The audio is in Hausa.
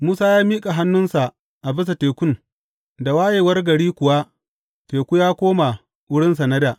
Musa ya miƙa hannunsa a bisa tekun, da wayewar gari kuwa teku ya koma wurinsa na dā.